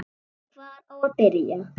En hvar á að byrja?